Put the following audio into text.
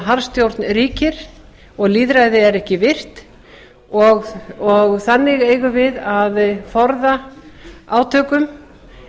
harðstjórn ríkir og lýðræði er ekki virt þannig eigum við að forða því að verði átök en